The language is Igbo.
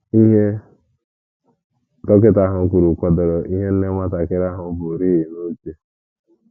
Ihe dọkịta ahụ kwuru kwadoro ihe nne nwatakịrị ahụ burịị n'uche.